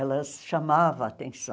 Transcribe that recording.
Elas chamavam a atenção.